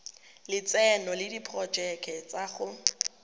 lotseno le diporojeke tsa go